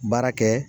Baara kɛ